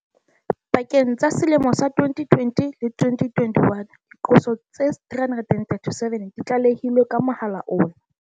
Pakeng tsa selemo sa 2020 le 2021, diqoso tse 337 di tlale hilwe ka mohala ona.